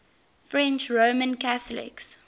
french roman catholics